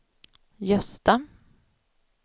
Gösta